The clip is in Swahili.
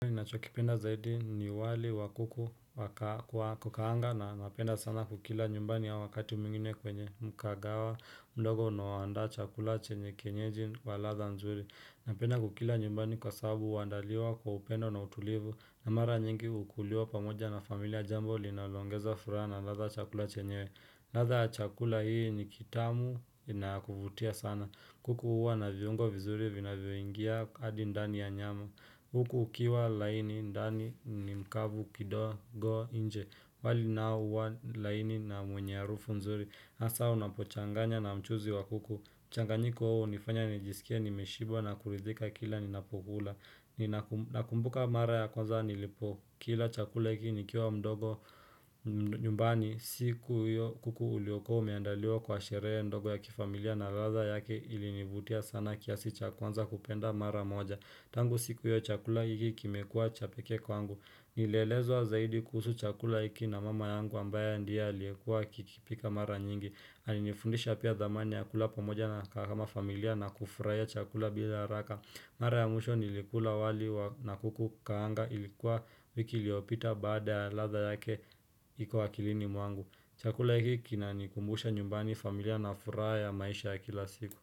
Nacho kipenda zaidi ni wali wa kuku kukaanga na napenda sana kukila nyumbani au wakati mwingine kwenye mkagawa mdogo unaoandaa chakula chenye kenyeji wa ladha nzuri napenda kukila nyumbani kwa sabu huandaliwa kwa upendo na utulivu na mara nyingi ukuliwa pamoja na familia jambo linaloongeza furaha na ladha ya chakula chenyewe ladha chakula hii ni kitamu na yakuvutia sana kuku huwa na viungo vizuri vinavyoingia hadi ndani ya nyama huku ukiwa laini ndani ni mkavu kidogo nje wali nao huwa laini na mwenye harufu mzuri hasa unapochanganya na mchuzi wa kuku mchanganyiko huo unifanya nijisikie nimeshiba na kuridhika kila ninapokula Nakumbuka mara ya kwanza nilipo Kila chakula hiki nikiwa mdogo nyumbani siku hiyo kuku ulioko umeandaliwa kwa sherehe mdogo ya kifamilia na ladha yake ilinivutia sana kiasi cha kuanza kupenda mara moja Tangu siku hiyo chakula hiki kimekua cha peke kwangu. Nilielezwa zaidi kuhusu chakula hiki na mama yangu ambaye ndiye aliyekua akikipika mara nyingi. Alinifundisha pia dhamani ya kula pamoja na kakama familia na kufurahia chakula bila haraka. Mara ya mwisho nilikula wali na kuku kaanga ilikuwa wiki iliopita baada ya ladha yake iko akilini mwangu. Chakula hiki kinani kumbusha nyumbani familia na furaha ya maisha ya kila siku.